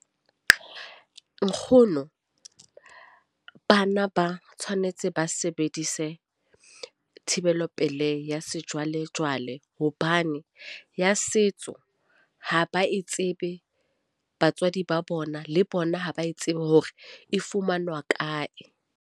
Nkgono, bana ba tshwanetse ba sebedise thibelopelei ya sejwalejwale hobane ya setso ha ba e tsebe. Batswadi ba bona le bona ha ba e tsebe hore e fumanwa kae.